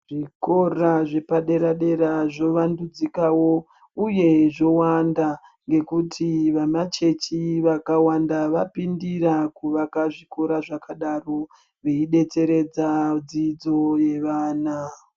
zvikora zvedera dera zvovandzikawo uye zvowanda ngekuti vamachechi vakawanda vapindira kuvaka zvikora zvakadaro veidetseredza dzidzo yevana.